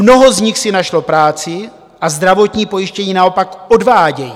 Mnoho z nich si našlo práci a zdravotní pojištění naopak odvádějí.